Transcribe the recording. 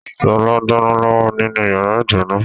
Sọlá ń dáná lọ́wọ́ nínú yàrá ìdáná